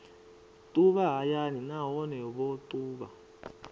ṱuvha hayani nahone vho ṱuvha